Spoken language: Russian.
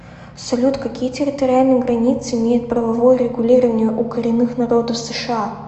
салют какие территориальные границы имеет правовое регулирование у коренных народов сша